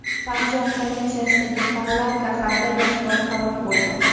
Panjob provinsiyasidagi Kallar Kaxarda yosh bola halok bo‘lgan.